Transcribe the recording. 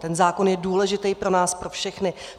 Ten zákon je důležitý pro nás pro všechny.